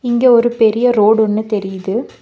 இங்க ஒரு பெரிய ரோடு ஒன்னு தெரியிது.